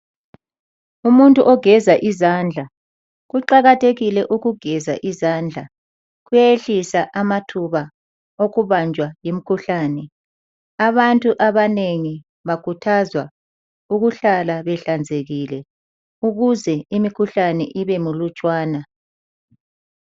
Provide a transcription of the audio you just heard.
Umuntu ogeza izandla. Kuqakathekile ukugeza izandla kuyehlisa amathuba okubanjwa yimkhuhlane. Abantu abanengi bakhuthazwa ukuhlala behlanzekile, ukuze imikhuhlane ibe mulutshwana.